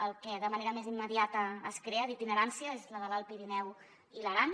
la que de manera més immediata es crea d’itinerància és la de l’alt pirineu i l’aran